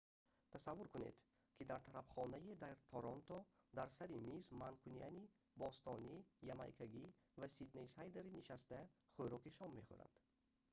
тасаввур кунед ки дар тарабхонае дар торонто дар сари миз манкунианӣ бостонӣ ямайкагӣ ва сиднейсайдерӣ нишаста хӯроки шом мехӯранд